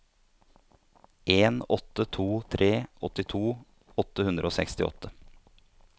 en åtte to tre åttito åtte hundre og sekstiåtte